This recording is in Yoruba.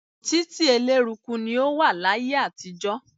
Títí eléruku ni ó wà láyé àtijọ́.